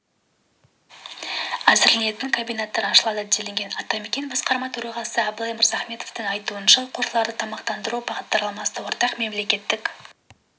әзірленетін комбинаттар ашылады делінген атамекен басқарма төрағасы абылай мырзахметовтің айтуынша оқушыларды тамақтандыру бағдарламасы ортақ мемлекеттік